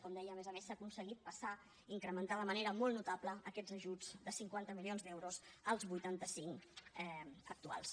com deia a més a més s’ha aconseguit incrementar de manera molt notable aquests ajuts de cinquanta milions d’euros als vuitanta cinc actuals